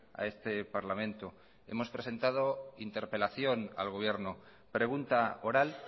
a este parlamento hemos presentado interpelación al gobierno pregunta oral